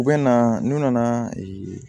U bɛ na n'u nana ee